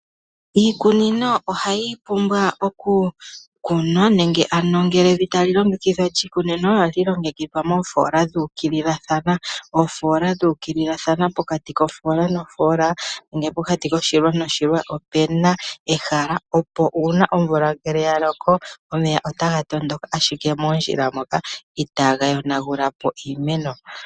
Iikunino ohayi pumbwa oku kunwa, nenge ano ngele evi tali longekidhwa lyiikunino ohali longekidhwa moofola dhuukililathana. Pokati kofoola nofoola nenge pokati koshilwa noshilwa opuna ehala opo uuna omvula ngele yaloko omeya otaga tondoka ashike moondjila moka itaaga yonagulapo iimeno.